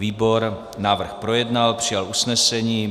Výbor návrh projednal, přijal usnesení.